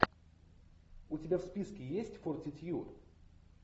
у тебя в списке есть фортитьюд